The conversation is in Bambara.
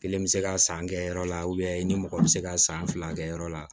Kelen bɛ se ka san kɛ yɔrɔ la i ni mɔgɔ bɛ se ka san fila kɛ yɔrɔ la